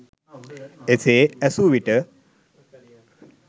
එසේ ඇසු විට